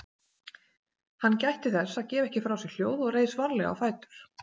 Hann gætti þess að gefa ekki frá sér hljóð og reis varlega á fætur.